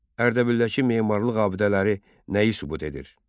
Ərdəbildəki memarlıq abidələri nəyi sübut edir?